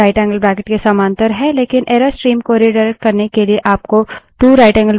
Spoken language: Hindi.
इसलिए> rightangle bracket 1> के समांतर है